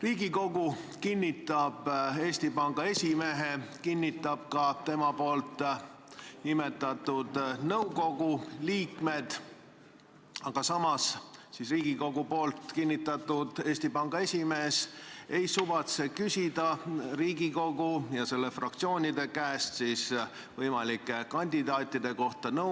Riigikogu kinnitab Eesti Panga Nõukogu esimehe, kinnitab ka tema nimetatud nõukogu liikmed, aga samas ei suvatse Riigikogu kinnitatud Eesti Panga Nõukogu esimees küsida Riigikogu ja selle fraktsioonide käest nõusolekut võimalike kandidaatidega.